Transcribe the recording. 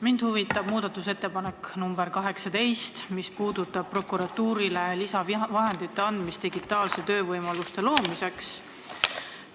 Mind huvitab muudatusettepanek nr 18, mis puudutab prokuratuurile lisavahendite andmist digitaalsete töövõimaluste loomiseks.